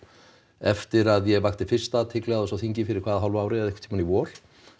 eftir að ég vakti fyrst athygli á þessu á þingi fyrir hvað hálfu ári eða einhvern tímann í vor